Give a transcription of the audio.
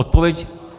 Odpověď.